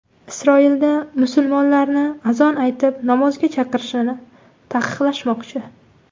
Isroilda musulmonlarni azon aytib namozga chaqirishni taqiqlashmoqchi.